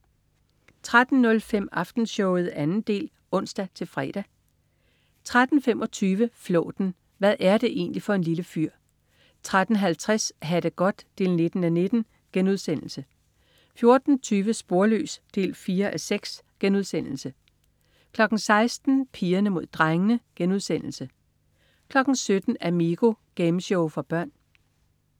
13.05 Aftenshowet 2. del (ons-fre) 13.25 Flåten. Hvad er det egentlig for en lille fyr? 13.50 Ha' det godt 19:19* 14.20 Sporløs 4:6* 16.00 Pigerne Mod Drengene* 17.00 Amigo. Gameshow for børn